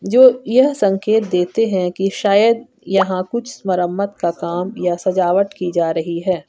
जो यह संकेत देते हैं कि शायद यहां कुछ मरम्मत का काम या सजावट की जा रही है।